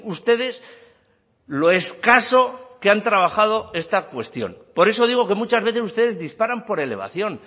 ustedes lo escaso que han trabajado esta cuestión por eso digo que muchas veces ustedes disparan por elevación